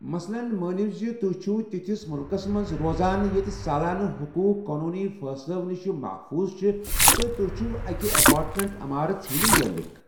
مثلَن، مٲنِو زِ توہِہِ چھِو تِتھس مٗلكس منز روزان ییٚتہِ سالانہٕ حقوٗق قونوٗنی فٲصلَو نِش محفوٗظ چھِ تہٕ ت٘ہہِ چھِو اَکہِ ایپارٹمینٹ عمارٕژ ہٕنٛدِ مٲلکھ ۔